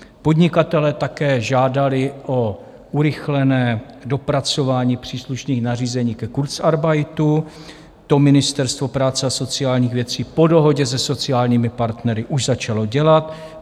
Podnikatelé také žádali o urychlené dopracování příslušných nařízení ke kurzarbeitu, to Ministerstvo práce a sociálních věcí po dohodě se sociálními partnery už začalo dělat.